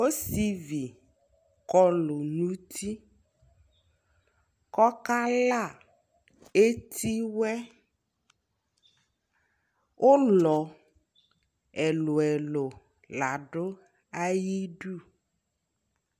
Ɔsivi kɔlu nuti kɔ ka la ɛti wɛUlɔ ɛluɛluɛlɛ la du ayi du